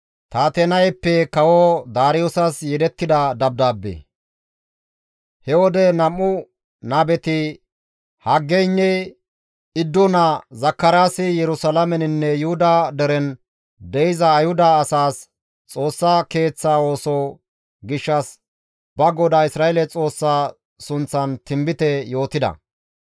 He wode nam7u nabeti Haggeynne Iddo naa Zakaraasi Yerusalaameninne Yuhuda deren de7iza Ayhuda asaas Xoossa Keeththa ooso gishshas ba Godaa Isra7eele Xoossaa sunththan tinbite yootida.